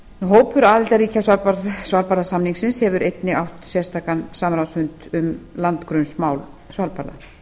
hópur aðildarríkja svalbarðasamningsins hefur einnig átt sérstakan samráðsfund um landgrunnsmál svalbarða